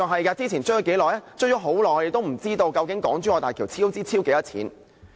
我們追問了很久，卻仍不知道究竟港珠澳大橋的超支金額是多少。